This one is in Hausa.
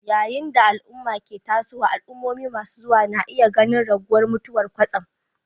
Yayin da al'umma ke tasowa, al'ummomi masu zuwa na iya ganin raguwar mutuwar kwatsam